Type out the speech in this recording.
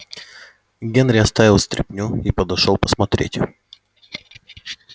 генри оставил стряпню и подошёл посмотреть